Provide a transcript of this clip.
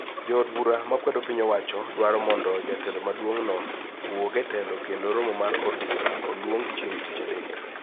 Jood bura makwedo piny owacho dwaro mondo jatelo maduong` no owuog e telo kendo romo mar od bura oluong chieng Tich Adek